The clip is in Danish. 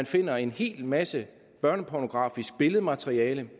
finder en hel masse børnepornografisk billedmateriale